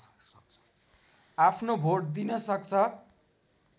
आफ्नो भोट दिन सक्छ